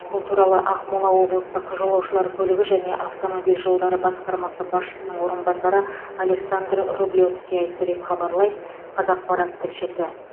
бұл туралы ақмола облыстық жолаушылар көлігі және автомобиль жолдары басқармасы басшысының орынбасары александр рублевский айтты деп хабарлайды қазақпарат тілшісі